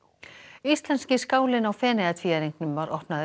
íslenski skálinn á Feneyjatvíæringnum var opnaður í